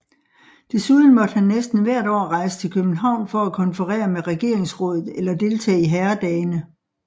Desuden måtte han næsten hvert år rejse til København for at konferere med regeringsrådet eller deltage i herredagene